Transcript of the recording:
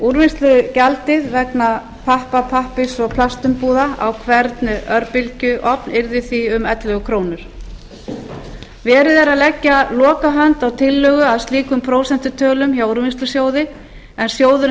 úrvinnslugjaldið vegna pappa pappírs og plastumbúða á hvern örbylgjuofn yrði því um ellefu króna verið er að leggja lokahönd á tillögu að slíkum prósentutölum hjá úrvinnslusjóði en sjóðurinn